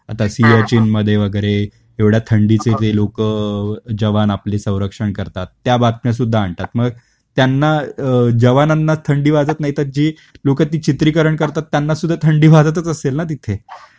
आता सियाचीन मध्ये वगैरे एवढा थंडीचे जे लोक जवान आपले संरक्षण करतात त्या बातम्या सुद्धा आणतात. मग त्यांना अ जवानांना थंडी वाजत नाहीं तर जे लोक ती चित्रीकरण करतात त्यांना सुद्धा थंडी वाजतच असेल ना तिथे.